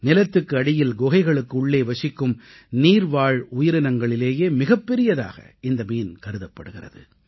நிலத்துக்கு அடியில் குகைகளுக்கு உள்ளே வசிக்கும் நீர்வாழ் உயிரினங்களிலேயே மிகப் பெரியதாக இந்த மீன் கருதப்படுகிறது